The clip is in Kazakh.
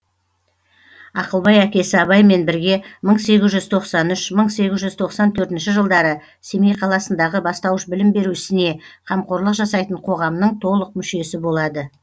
ақылбай әкесі абаймен бірге мың сегіз жүз тоқсан үш мың сегіз жүз тоқсан төртінші жылдары семей қаласындағы бастауыш білім беру ісіне қамқорлық жасайтын қоғамның толық мүшесі болады